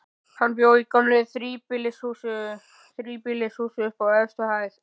Hann bjó í gömlu þríbýlishúsi, uppi á efstu hæð.